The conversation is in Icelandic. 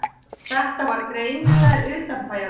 Þetta var greinilega utanbæjarmaður.